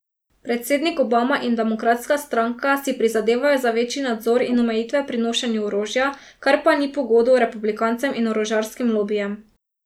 Predsednik Obama in demokratska stranka si prizadevajo za večji nadzor in omejitve pri nošenju orožja, kar pa ni po godu republikancem in orožarskim lobijem.